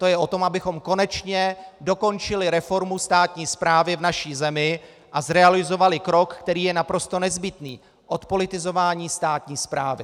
To je o tom, abychom konečně dokončili reformu státní správy v naší zemi a zrealizovali krok, který je naprosto nezbytný - odpolitizování státní správy.